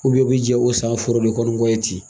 i bɛ jɛn o san foro in kɔni kɔ ten